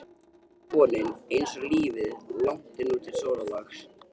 einsog vonin, einsog lífið- langt er nú til sólarlags.